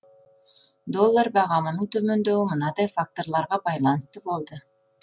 доллар бағамының төмендеуі мынадай факторларға байланысты болды